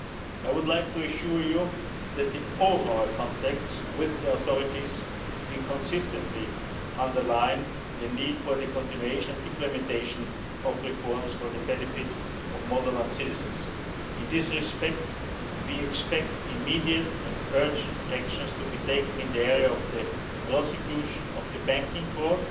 programmes. I would like to assure you that in all our contacts with the authorities we consistently underline the need for the continuation of implementation of reforms for the benefit of Moldovan citizens. In this respect, we expect immediate and urgent actions to be taken in the area of the prosecution of the